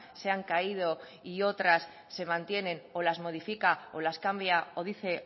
se han caído y otras se mantienen o las modifica o las cambia o dice